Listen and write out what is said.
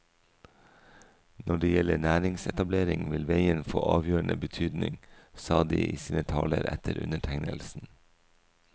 Når det gjelder næringsetablering, vil veien få avgjørende betydning, sa de i sine taler etter undertegnelsen.